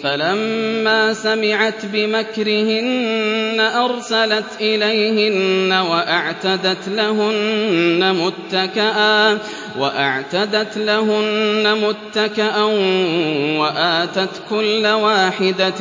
فَلَمَّا سَمِعَتْ بِمَكْرِهِنَّ أَرْسَلَتْ إِلَيْهِنَّ وَأَعْتَدَتْ لَهُنَّ مُتَّكَأً وَآتَتْ كُلَّ وَاحِدَةٍ